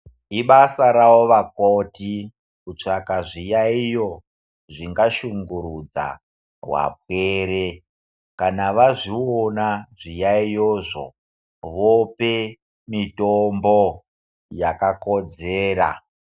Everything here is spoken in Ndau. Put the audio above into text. Ibasa ravo vakoti, kutsvaga zviyaiyo zvingashungurudza vapwere, kana vazviona zviyaiyozvo , vope mitombo yakakodzera.